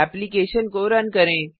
application को run करें